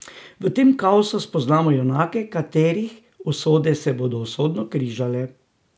V tem kaosu spoznamo junake, katerih usode se bodo usodno križale.